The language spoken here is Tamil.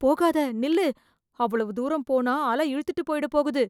போகாத ! நில்லு ! அவ்வளவு தூரம் போனா, அல இழுத்துட்டுப் போயிட போகுது